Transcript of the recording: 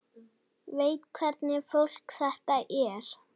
Veit hvernig fólk þetta er.